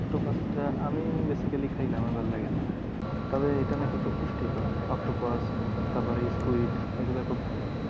অক্টোপাসটা আমি basically খাই না। আমার ভালো লাগে না। তবে এটা নাকি খুব পুষ্টিকর। অক্টোপাস তারপরে স্কুইড এগুলা খুব ভালো।